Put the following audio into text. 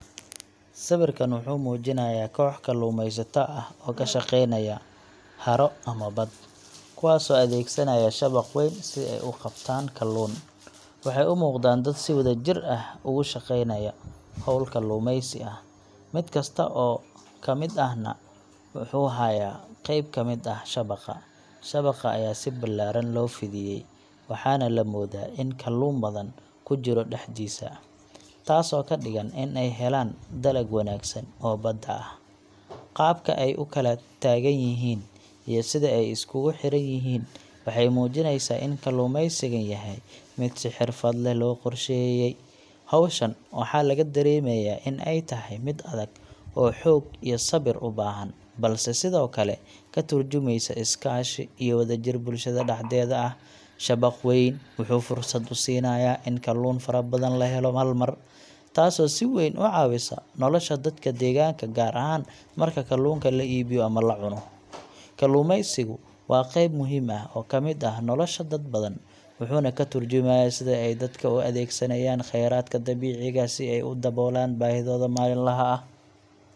Sawirkan wuxuu muujinayaa koox kalluumeysato ah oo ka shaqeynaya haro ama bad, kuwaasoo adeegsanaya shabaq weyn si ay u qabtaan kalluun. Waxay u muuqdaan dad si wadajir ah ugu shaqaynaya hawl kalluumeysi ah, mid kasta oo ka mid ahna wuxuu hayaa qayb ka mid ah shabaqa. Shabaqa ayaa si ballaaran loo fidiyay, waxaana la moodaa in kalluun badan ku jiro dhexdiisa, taasoo ka dhigan in ay heleen dalag wanaagsan oo badda ah. Qaabka ay u kala taagan yihiin iyo sida ay iskugu xiran yihiin waxay muujinaysaa in kalluumeysigan yahay mid si xirfad leh loo qorsheeyay. Hawshan waxaa laga dareemayaa in ay tahay mid adag oo xoog iyo sabir u baahan, balse sidoo kale ka tarjumaysa iskaashi iyo wadajir bulshada dhexdeeda ah. Shabaq weyn wuxuu fursad u siinayaa in kalluun fara badan la helo hal mar, taasoo si weyn u caawisa nolosha dadka deegaanka, gaar ahaan marka kalluunka la iibiyo ama la cuno. Kalluumeysigu waa qeyb muhiim ah oo ka mid ah nolosha dad badan, wuxuuna ka tarjumayaa sida ay dadka u adeegsanayaan kheyraadka dabiiciga ah si ay u daboolaan baahidooda maalinlaha ah.